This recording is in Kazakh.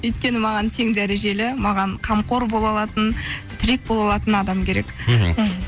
өйткені маған тең дәрежелі маған қамқор бола алатын тірек бола алатын адам керек мхм